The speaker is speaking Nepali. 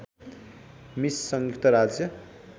मिस संयुक्त राज्य